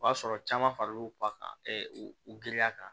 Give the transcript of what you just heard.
O y'a sɔrɔ caman faral'u ba kan u girinya kan